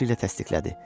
Başı ilə təsdiqlədi.